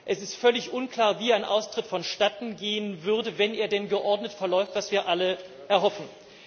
Es ist völlig unklar, wie ein Austritt vonstatten gehen würde, wenn er denn geordnet verläuft, was wir alle erhoffen.